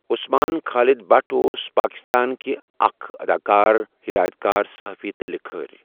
عَثمان خالِد بٹ اوس پاکِستان كہِ اَكھ اَداکار، ہِدایَت کار، صَحافی تہٕ لِکھٲرۍ۔